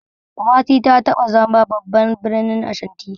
Kumasi ta taɓa zama babban birnin Ashanti.